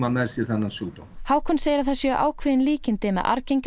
með sér þennan sjúkdóm Hákon segir að það séu ákveðin líkindi með